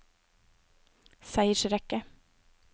seiersrekke